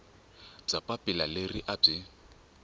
bya papila leri a byi